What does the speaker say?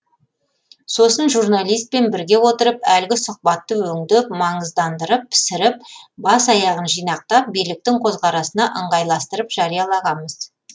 сосын журналистпен бірге отырып әлгі сұхбатты өңдеп маңыздандырып пісіріп бас аяғын жинақтап биліктің көзқарасына ыңғайластырып жариялағанбыз